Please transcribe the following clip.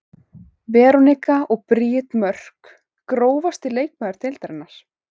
Veronika og Bríet Mörk Grófasti leikmaður deildarinnar?